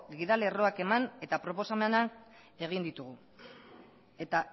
gida lerroak eman eta proposamenak egin ditugu eta